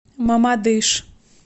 мамадыш